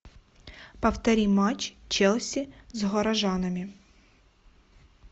повтори матч челси с горожанами